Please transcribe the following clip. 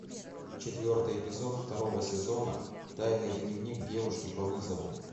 четвертый эпизод второго сезона тайный дневник девушки по вызову